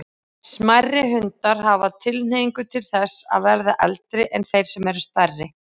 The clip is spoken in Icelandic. Smærri hundar hafa tilhneigingu til þess að verða eldri en þeir sem eru stærri.